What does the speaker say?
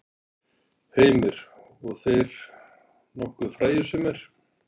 Heimir: Og þeir nokkuð frægir sumir?